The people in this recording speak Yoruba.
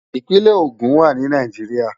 Ipinè Ogun wá ni Náijiriá